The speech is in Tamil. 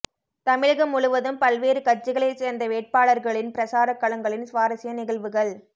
தமிழகம் முழுவதும் பல்வேறு கட்சிகளைச்சேர்ந்த வேட்பாளர்களின் பிரசார களங்களின் சுவாரஸ்ய நிகழ்வுகள்